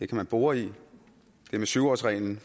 kan man bore i det med syv årsreglen